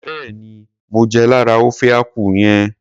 Béèni mo jẹ lára ofe akwu yẹn.